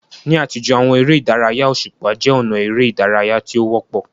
Ní àtijọ́, àwọn eré ìdárayá òṣùpá jẹ́ ọ̀nà eré ìdárayá tí ó wọ́pọ̀.